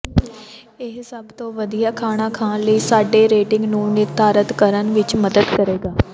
ਇਹ ਸਭ ਤੋਂ ਵਧੀਆ ਖਾਣਾ ਖਾਣ ਲਈ ਸਾਡੀ ਰੇਟਿੰਗ ਨੂੰ ਨਿਰਧਾਰਤ ਕਰਨ ਵਿੱਚ ਮਦਦ ਕਰੇਗਾ